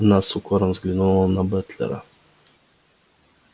она с укором взглянула на батлера